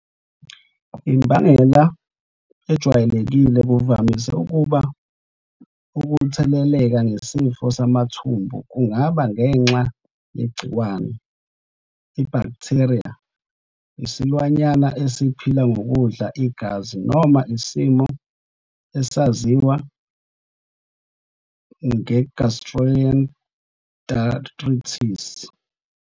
Imbangela ejwayelekile kuvamise ukuba ukutheleleka ngesifo samathumbu kungaba ngenxa yegciwane, ibhaktheriya, isilwanyana esiphila ngokudla igazi, noma isimo esaziwa gastroenteritis.